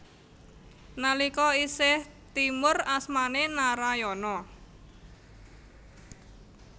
Nalika isih timur asmané Narayana